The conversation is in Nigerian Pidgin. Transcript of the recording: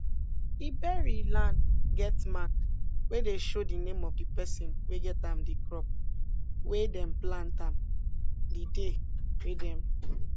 ebery lan get mark wey dey show de name of di persin wey get am di crop wey dem plant an di day wey dem